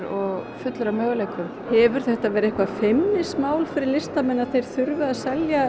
fullur af möguleikum hefur þetta verið eitthvert feimnismál fyrir listamenn að þeir þurfi að selja